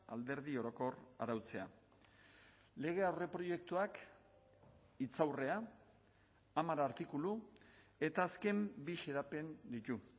alderdi orokor arautzea lege aurreproiektuak hitzaurrea hamar artikulu eta azken bi xedapen ditu